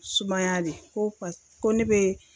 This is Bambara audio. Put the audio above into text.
Sumaya de ko ka ko ne be